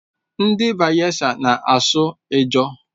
Ndị Bayelsa na-asụ Ijaw.